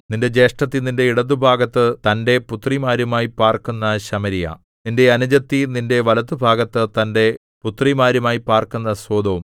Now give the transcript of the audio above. നിന്റെ ജ്യേഷ്ഠത്തി നിന്റെ ഇടത്തുഭാഗത്ത് തന്റെ പുത്രിമാരുമായി പാർക്കുന്ന ശമര്യ നിന്റെ അനുജത്തി നിന്റെ വലത്തുഭാഗത്ത് തന്റെ പുത്രിമാരുമായി പാർക്കുന്ന സൊദോം